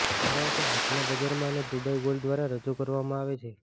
કારણ કે આજના બજારમાં અને દુબઇ ગોલ્ડ દ્વારા રજૂ કરવામાં આવે છે